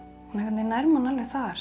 nær manni alveg þar